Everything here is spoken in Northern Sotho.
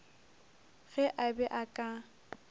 ge a be a ka